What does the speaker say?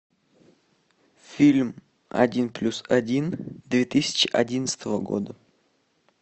фильм один плюс один две тысячи одиннадцатого года